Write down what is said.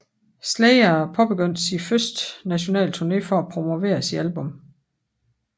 Slayer påbegyndte sin første nationale turné for at promovere sit album